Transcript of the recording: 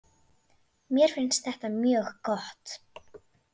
Mér finnst þetta mjög gott.